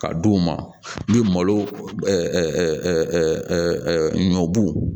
Ka d'u ma ni malo ɲɔ bu